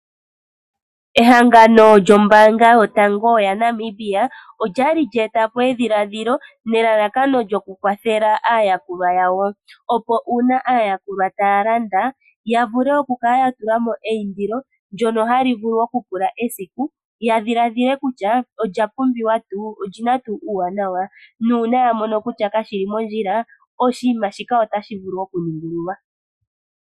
Ehangano lyombaanga yotango yaNamibia, olya li lya eta po edhiladhilo, nelalakano lyokukwathela aayakulwa yawo, opo uuna aayakulwa taya landa, ya vule okukala ya tula mo eindilo ndyono hali vulu okupula esiku, ya dhiladhile kutya olya pumbiwa tuu? Oli na tuu uuwanawa? Nuuna ya mono kutya kashi li mondjila, oshinima shika otashi vulu okuningululwa.